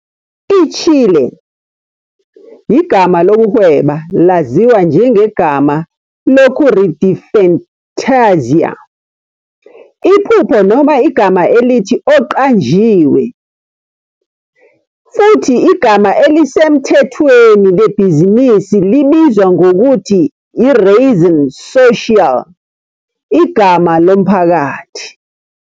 ITshile, igama lokuhweba laziwa njengegama lokure de fantasía, 'iphupho' noma igama elithi 'oqanjiwe', futhi igama elisemthethweni lebhizinisi libizwa ngokuthi i-razón social, igama lomphakathi.